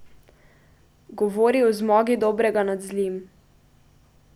Govori o zmagi dobrega nad zlim.